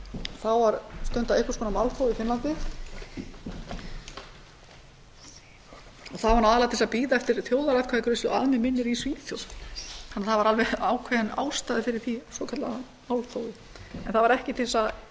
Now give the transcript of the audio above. þá var stundað einhvers konar málþóf í finnlandi það var aðallega til að bíða eftir þjóðaratkvæðagreiðslu að mig minnir í svíþjóð en það var alveg ákveðin ástæða fyrir því svokallaða málþófi en það var ekki til að